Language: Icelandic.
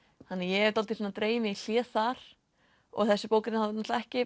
þannig að ég hef dálítið svona dregið mig í hlé þar og þessi bók er ekki